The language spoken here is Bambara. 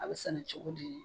A be sɛnɛ cogo di